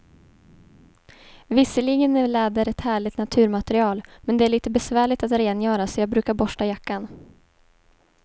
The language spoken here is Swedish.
Visserligen är läder ett härligt naturmaterial, men det är lite besvärligt att rengöra, så jag brukar borsta jackan.